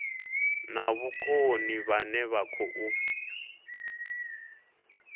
na vhukoni vhane vha khou